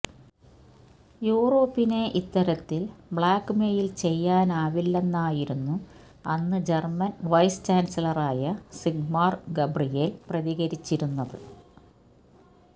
യൂറോപ്പിനെ ഇത്തരത്തിൽ ബ്ലാക്ക്മെയിൽ ചെയ്യാനാവില്ലെന്നായിരുന്നു അന്ന് ജർമൻ വൈസ് ചാൻസലറായ സിഗ്മാർ ഗബ്രിയേൽ പ്രതികരിച്ചിരുന്നത്